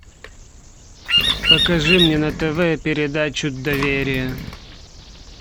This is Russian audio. покажи мне на тв передачу доверие